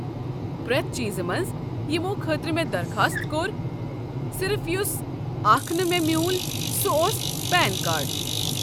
پرٮ۪تھ چیٖزٕ منٛزٕ یمو خٲطرٕ مےٚ درخاست كوٚر، صرف یُس اكھ نہٕ مے٘ مِیوٗل سہُ اوس پین كارڈ ۔